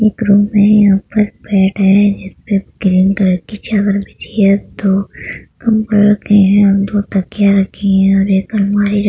room यहाँ पर एक बेड है जिसपे ग्रीन कलर की चादर बिछी है दो कम्बल रखे है दो तकिया रखी है और एक अलमारी रखी --